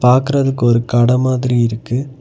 பாக்குறதுக்கு ஒரு கட மாதிரி இருக்கு.